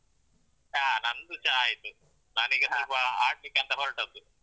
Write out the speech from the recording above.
ಹ ನಂದು ಚಾ ಆಯ್ತು. ಸ್ವಲ್ಪ ಆಡ್ಲಿಕ್ಕೆಂತ ಹೊರಟದ್ದು.